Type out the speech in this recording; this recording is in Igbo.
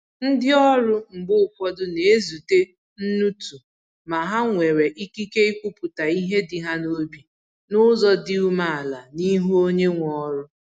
Ndi ọrụ mgbe ụfọdụ na ezute nnutu ma ha nwere ikike ikwupụta ihe dị ha n’obi n’ụzọ dị umeala n’ihu onye nwe ọrụ